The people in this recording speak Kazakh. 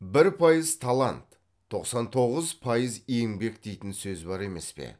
бір пайыз талант тоқсан тоғыз пайыз еңбек дейтін сөз бар емес пе